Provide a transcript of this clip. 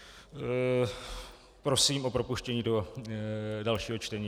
Prosím o propuštění do dalšího čtení.